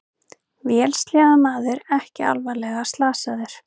Vélsleðamaður ekki alvarlega slasaður